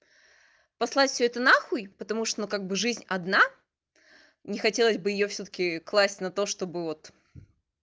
послать всё это на хуй потому что ну как бы жизнь одна не хотелось бы её всё-таки класть на то чтобы вот